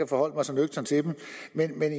forholdt mig så nøgternt til dem men